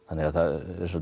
eins og